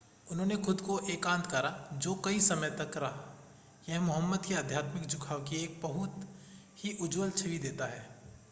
उन्होंने खुद को एकांत करा जो कई समय तक रहा यह मुहम्मद के आध्यात्मिक झुकाव की एक बहुत ही उज्ज्वल छवि देता है।